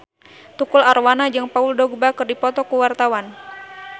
Tukul Arwana jeung Paul Dogba keur dipoto ku wartawan